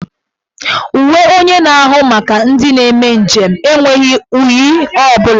Uwe onye na-ahụ maka ndị na-eme njem enweghi unyi ọ bụla.